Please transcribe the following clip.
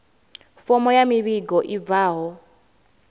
fomo ya muvhigo i bvaho